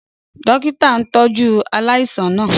Dókítà náà ń tọ́jú aláìsàn náà